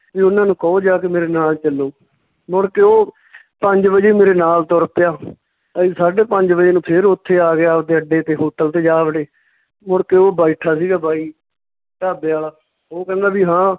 ਵੀ ਓਹਨਾਂ ਨੂੰ ਕਹੋ ਜਾ ਕੇ ਮੇਰੇ ਨਾਲ ਚੱਲੋ ਮੁੜ ਕੇ ਓਹ ਪੰਜ ਵਜੇ ਮੇਰੇ ਨਾਲ ਤੁਰ ਪਿਆ ਅਸੀਂ ਸਾਢੇ ਪੰਜ ਵਜੇ ਨੂੰ ਫੇਰ ਓਥੇ ਆ ਗਿਆ ਅੱਡੇ ਤੇ hotel ਤੇ ਜਾ ਵੜੇ, ਮੁੜਕੇ ਓਹ ਬੈਠਾ ਸੀਗਾ ਬਾਈ ਢਾਬੇ ਆਲਾ, ਉਹ ਕਹਿੰਦਾ ਵੀ ਹਾਂ,